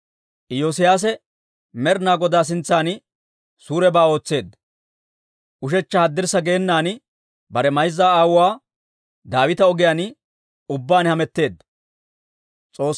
Iyoosiyaase Med'ina Godaa sintsan suurebaa ootseedda; ushechcha haddirssa geenan bare mayza aawuwaa Daawita ogiyaan ubbaan hametteedda.